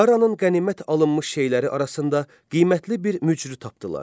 Daranın qənimət alınmış şeyləri arasında qiymətli bir mücrü tapdılar.